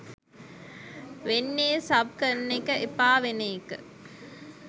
වෙන්නේ සබ් කරන එක එපා වෙන එක